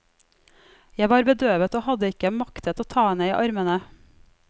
Jeg var bedøvet, og hadde ikke maktet å ta henne i armene.